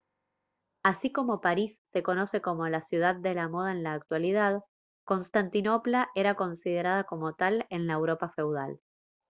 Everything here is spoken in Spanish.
así como parís se conoce como la ciudad de la moda en la actualidad constantinopla era considerada como tal en la europa feudal